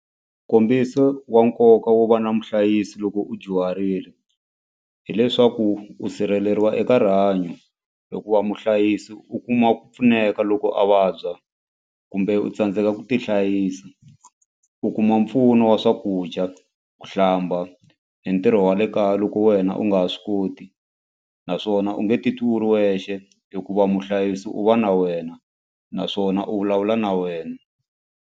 Nkombiso wa nkoka wo va na muhlayisi loko u dyuharile hileswaku u sirheleriwa eka rihanyo hikuva muhlayisi u kuma ku pfuneka loko a vabya kumbe u tsandzeka ku tihlayisa u kuma mpfuno wa swakudya ku hlamba hi ntirho wa le kaya loko wena u nga ha swi koti naswona u nge titwi u ri wexe hikuva muhlayisi u va na wena naswona u vulavula na wena.